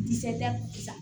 Disiya